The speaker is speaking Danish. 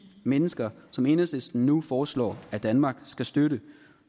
mennesker som enhedslisten nu foreslår danmark skal støtte